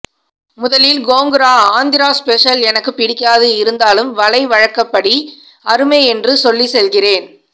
முதலில் கோங்குரா ஆந்திர ஸ்பெஷல் எனக்குப் பிடிக்காது இருந்தாலும் வலை வழக்கப்படி அருமை என்றுசொல்லிச் செல்கிறேன்